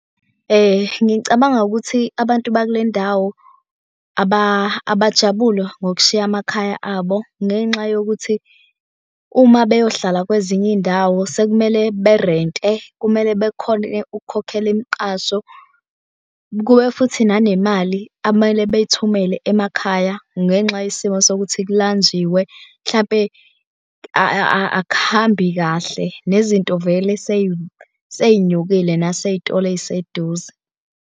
Ngicabanga ukuthi abantu bakule ndawo abajabule ngokushiya amakhaya abo ngenxa yokuthi uma beyohlala kwezinye iy'ndawo sekumele berente. Kumele bekhone ukukhokhela imiqasho, kube futhi nanemali akumele bey'thumele emakhaya ngenxa yesimo sokuthi kulanjiwe hlampe akuhambi kahle, nezinto vele sey'nyukile nasey'tolo ey'seduze.